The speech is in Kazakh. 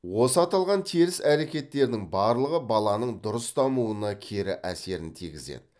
осы аталған теріс әрекеттердің барлығы баланың дұрыс дамуына кері әсерін тигізеді